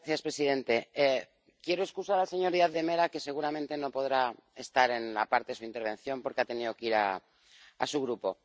Señor presidente, quiero excusar al señor Díaz de Mera, que seguramente no podrá estar en la parte de su intervención porque ha tenido que ir a su Grupo.